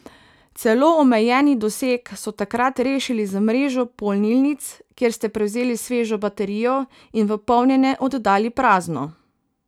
Celo omejeni doseg so takrat rešili z mrežo polnilnic, kjer ste prevzeli svežo baterijo in v polnjenje oddali prazno.